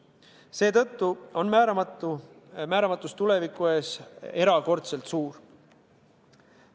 Seetõttu on määramatus tuleviku ees erakordselt suur.